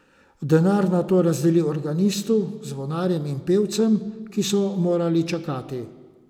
Denar nato razdeli organistu, zvonarjem in pevcem, ki so morali čakati.